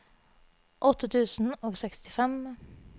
åtte tusen og sekstifem